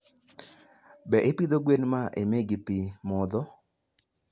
be ipidho gwen ma imiyo gi pi modho.